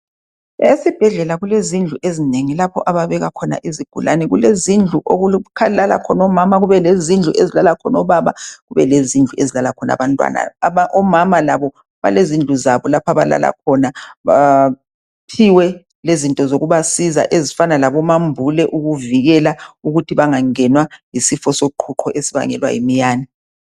Esibhedlela kulezindlu ezinengi lapho ababeka khona izigulane. Kulezindlu lapho okulala khona obaba, kubelezindlu okulala khona abantwana. Omama labo balezindlu zabo lapho abalala khona baphiwe lezinto zokubasiza ezifana labomambule yisifo soqhuqho esibangelwa yimiyane.